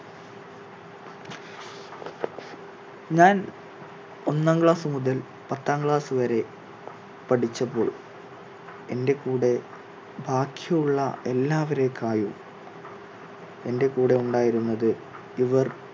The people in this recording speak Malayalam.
ഞാൻ ഒന്നാം class മുതൽ പത്താം class വരെ പഠിച്ചപ്പോൾ എന്റെ കൂടെ ബാക്കി ഉള്ള എല്ലാവരേക്കാളും എന്റെ കൂടെ ഉണ്ടായിരുന്നത് ഇവർ